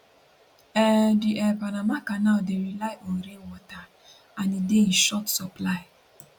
um di um panama canal dey rely on rainwater and e dey in short supply